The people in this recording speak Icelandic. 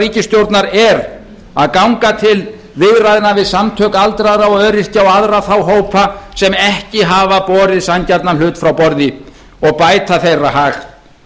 ríkisstjórnar er að ganga til viðræðna við samtök aldraðra og öryrkja og aðra þá hópa sem ekki hafa borið sanngjarnan hlut frá borði og bæta þeirra hag